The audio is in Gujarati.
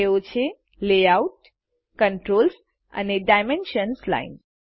તેઓ છે layoutકન્ટ્રોલ્સ અને ડાયમેન્શન્સ લાઇન્સ